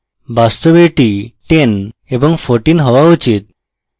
বাস্তবে এটি 10 এবং 14 হওয়া উচিত